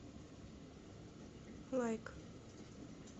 лайк